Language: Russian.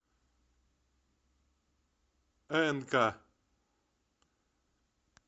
энка